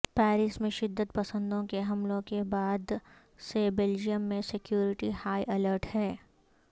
Paris میں شدت پسندوں کے حملوں کے بعد سے بیلجیئم میں سکیورٹی ہائی الرٹ ہے